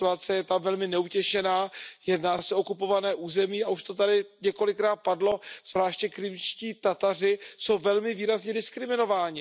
Ta situace je tam velmi neutěšená, jedná se o okupované území a už to tady několikrát padlo, zvláště Krymští Tataři jsou velmi výrazně diskriminováni.